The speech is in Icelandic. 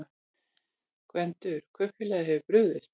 GVENDUR: Kaupfélagið hefur brugðist.